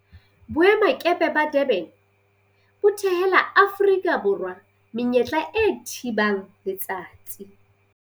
Boemakepe ba Durban bo thehela Aforika Borwa menyetla e thibang letsatsi